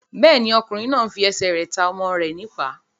Bẹ́ẹ̀ni, ọkùnrin náà n fi ẹsẹ̀ rẹ̀ ta ọmọ rẹ̀ ní ìpá